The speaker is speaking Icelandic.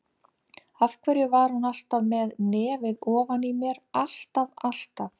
Af hverju var hún alltaf með nefið ofan í mér, alltaf, alltaf.